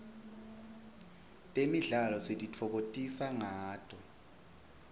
temidlalo sititfokotisa ngato